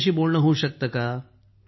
त्यांच्याशी बोलणं होऊ शकतं का